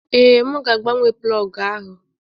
Ee, m ga-agbanwe plọg ahụ.